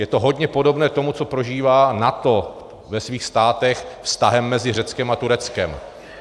Je to hodně podobné tomu, co prožívá NATO ve svých státech vztahem mezi Řeckem a Tureckem.